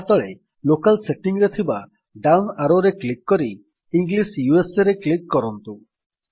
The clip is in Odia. ତାହା ତଳେ ଲୋକେଲ୍ ସେଟିଂ ରେ ଥିବା ଡାଉନ୍ ଆରୋରେ କ୍ଲିକ୍ କରି ଇଂଲିଶ USAରେ କ୍ଲିକ୍ କରନ୍ତୁ